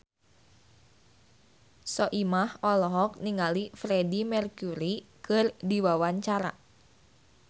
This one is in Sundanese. Soimah olohok ningali Freedie Mercury keur diwawancara